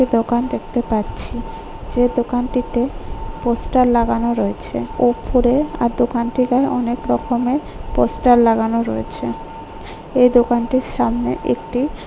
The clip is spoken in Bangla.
দোকান দেখতে পাচ্ছি যে দোকানটিতে পোস্টার লাগানো রয়েছে ওপরে আর দোকানটির গায়ে অনেক রকমের পোস্টার লাগানো রয়েছে এ দোকানটির সামনে একটি--